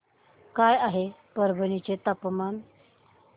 काय आहे परभणी चे तापमान